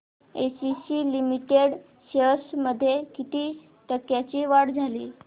ACC limited shares मध्ये किती टक्क्यांची वाढ झाली